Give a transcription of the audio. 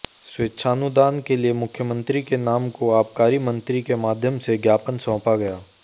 स्वेच्छानुदान के लिए मुख्यमंत्री के नाम को आबकारी मंत्री के माध्यम से ज्ञापन सौंपा गया